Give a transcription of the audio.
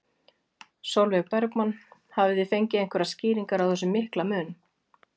Sólveig Bergmann: Hafið þið fengið einhverjar skýringar á þessum mikla mun?